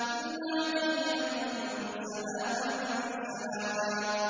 إِلَّا قِيلًا سَلَامًا سَلَامًا